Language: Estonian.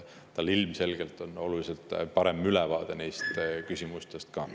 Tal ilmselgelt on oluliselt parem ülevaade neist küsimustest ka.